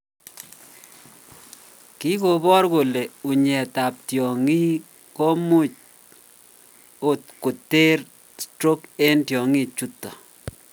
Kikobor kole unyet ab tyong'ik komuch okoter stroke en tyong'ik chuton